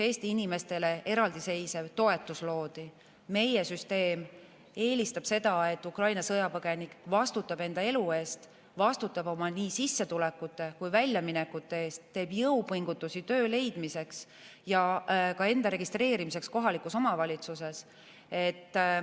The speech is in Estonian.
Meie süsteem eelistab seda, et Ukraina sõjapõgenik vastutab enda elu eest, vastutab nii oma sissetulekute kui ka väljaminekute eest, teeb jõupingutusi töö leidmiseks ja ka enda registreerimiseks kohalikus omavalitsuses.